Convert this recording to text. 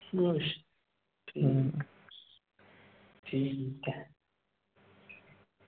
ਠੀਕ ਆ। ਠੀਕ ਐ।